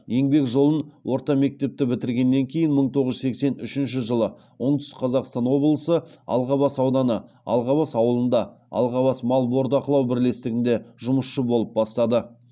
еңбек жолын орта мектепті бітіргеннен кейін мың тоғыз жүз сексен үшінші жылы оңтүстік қазақстан облысы алғабас ауданы алғабасауылында алғабас мал бордақылау бірлестігінде жұмысшы болып бастады